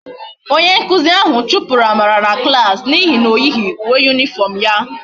Onye nkuzi ahu chupuru amara na klas na ihe na oyighi uwe uniform ya